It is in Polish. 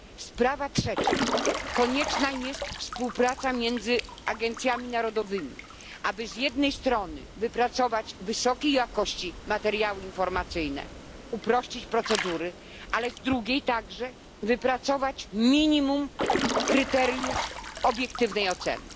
Sprawa trzecia konieczna jest współpraca między agencjami narodowymi, aby z jednej strony wypracować wysokiej jakości materiały informacyjne, uprościć procedury, a z drugiej wypracować minimum kryteriów obiektywnej oceny.